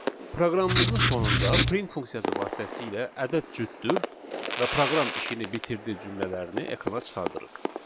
Proqramımızın sonunda print funksiyası vasitəsilə ədəd cütdür və proqram işini bitirdi cümlələrini ekrana çıxardırıq.